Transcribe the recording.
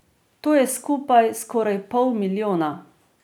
To je skupaj skoraj pol milijona.